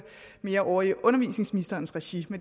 mere hjemme ovre i undervisningsministerens regi